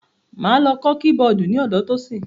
Mo máa lọ kọ́ kí-bọọ̀dù ní ọ̀dọ Tosin.